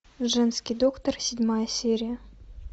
женский доктор седьмая серия